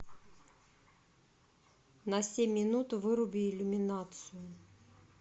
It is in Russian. на семь минут выруби иллюминацию